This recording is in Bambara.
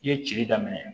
I ye cili daminɛ